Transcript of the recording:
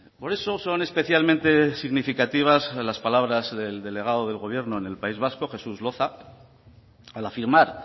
por eso son especialmente significativas las palabras de delegado del gobierno en el país vasco jesús loza al afirmar